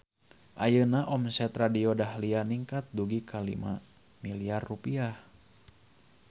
Ayeuna omset Radio Dahlia ningkat dugi ka 5 miliar rupiah